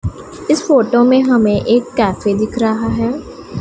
इस फोटो में हमें एक कैफे दिख रहा है।